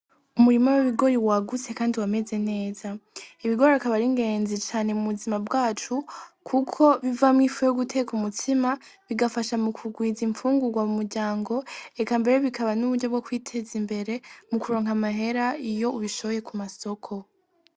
Umurima wibigori wagutse kandi wameze neza ibigori akaba ari ingezi cane mu buzima bwacu kuko bivamwo ifu yo guteka umutsima bigafasha kugwiza imfungurwa mu muryango eka mbere bikaba nuburyo bwo kwiteza imbere mukuronka amahera iyo ubishoye kumasoko.